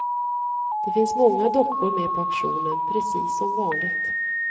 Det finns många dockor med på auktionen, precis som vanligt.